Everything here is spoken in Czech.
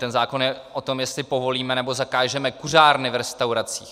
Ten zákon je o tom, jestli povolíme nebo zakážeme kuřárny v restauracích.